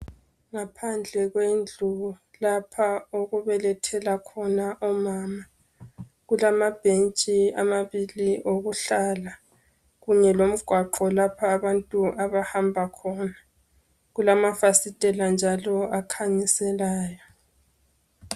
Ngaphandle kwendlu lapho okubelethela khona omama. Kulamabhentshi amabili okuhlala , kanye lomgwaqo lapho abantu abahamba khona. Kulamafasitela njalo akhanyiselayo.